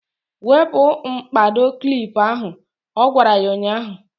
Wepu mkpado klip ahụ! Ọ gwara ya ụnyaahụ.